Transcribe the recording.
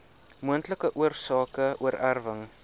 moontlike oorsake oorerwing